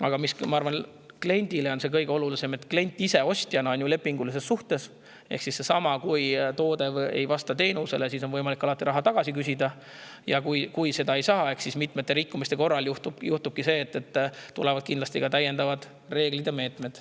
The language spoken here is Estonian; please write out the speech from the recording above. Aga ma arvan, et kliendile on kõige olulisem – klient ostjana on ju lepingulises suhtes –, et kui toode ei vasta, siis on alati võimalik raha tagasi küsida, ja kui seda ei saa, siis mitmete rikkumiste korral tulevad kindlasti ka täiendavad reeglid ja meetmed.